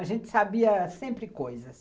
A gente sabia sempre coisas.